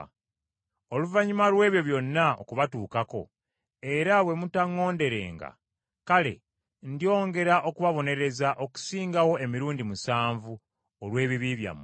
Oluvannyuma lw’ebyo byonna okubatuukako, era bwe mutaŋŋonderenga, kale ndyongera okubabonereza okusingawo emirundi musanvu, olw’ebibi byammwe.